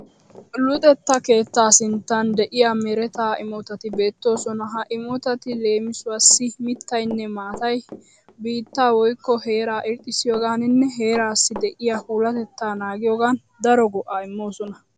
Luxetta keettaa sinttan de'iya mereta imotati beettoosona. Ha imotati leemisuwassi mittayinne maatay biittaa woyikko heeraa irxxissiyogaaninne heeraassi de'iya puulatetta naagiyogan daro go'aa immoosona.